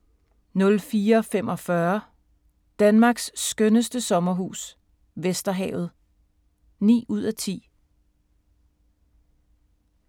04:45: Danmarks skønneste sommerhus - Vesterhavet (9:10)